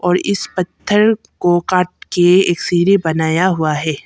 और इस पत्थर को काट के इक सिरी बनाया हुआ है।